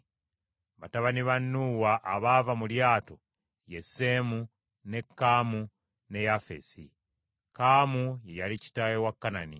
Batabani ba Nuuwa abaava mu lyato ye Seemu, ne Kaamu ne Yafeesi. Kaamu ye yali kitaawe wa Kanani.